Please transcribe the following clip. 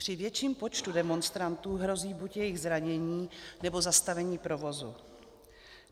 Při větším počtu demonstrantů hrozí buď jejich zranění, nebo zastavení provozu.